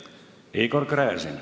Igor Gräzin.